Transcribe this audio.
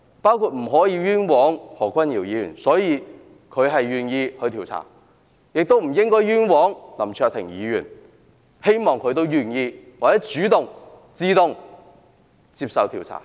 我們不能冤枉何君堯議員，所以何君堯議員願意接受調查，我們亦不應該冤枉林卓廷議員，希望他也願意或主動接受調查。